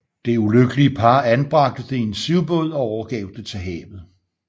Det ulykkelige par anbragte det i en sivbåd og overgav det til havet